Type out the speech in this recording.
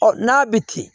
Ɔ n'a bɛ kilen